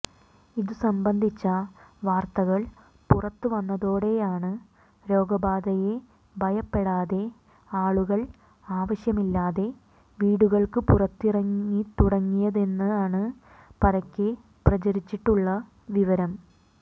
ഇത് സംമ്പന്ധിച്ച വാർത്തകൾ പുറത്തുവന്നതോടെയാണ് രോഗബാധയെ ഭയപ്പെടാതെ ആളുകൾ ആവശ്യമില്ലാതെ വീടുകൾക്ക് പുറത്തിറങ്ങിത്തുടങ്ങിയതെന്നാണ് പരക്കെ പ്രചരിച്ചിട്ടുള്ള വിവരം